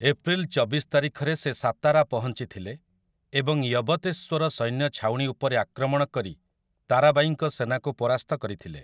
April ଚବିଶ ତାରିଖରେ ସେ ସାତାରା ପହଞ୍ଚିଥିଲେ ଏବଂ ୟବତେଶ୍ୱର ସୈନ୍ୟ ଛାଉଣୀ ଉପରେ ଆକ୍ରମଣ କରି ତାରାବାଈଙ୍କ ସେନାକୁ ପରାସ୍ତ କରିଥିଲେ ।